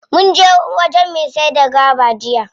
Munje wajen me saida gwaba jiya.